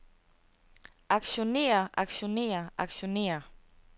aktionerer aktionerer aktionerer